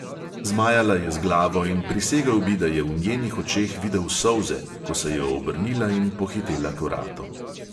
Zmajala je z glavo in prisegel bi, da je v njenih očeh videl solze, ko se je obrnila in pohitela k vratom.